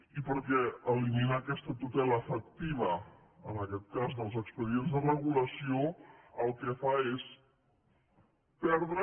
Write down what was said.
i perquè eliminar aquesta tutela efectiva en aquest cas dels expedients de regulació el que fa és perdre